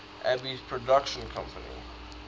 alby's production company